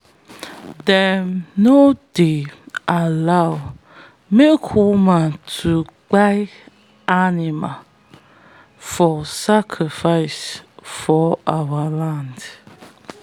them no dey allow make woman to kpai animal for sacrifice for our land.